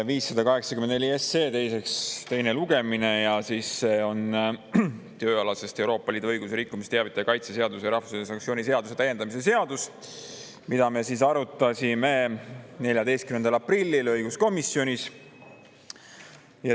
584 SE teine lugemine ja siis see on tööalasest Euroopa Liidu õiguse rikkumisest teavitaja kaitse seaduse ja rahvusvahelise sanktsiooni seaduse täiendamise seadus, mida me arutasime 14. aprillil õiguskomisjonis.